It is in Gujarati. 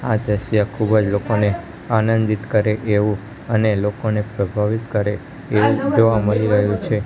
આ દ્રશ્ય ખૂબ જ લોકોને આનંદિત કરે એવું અને લોકોને પ્રભાવિત કરે એવું જોવા મળી રહ્યું છે.